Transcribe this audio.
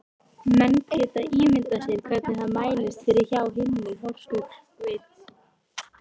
Menn geta ímyndað sér hvernig það mælist fyrir hjá hinni horsku sveit.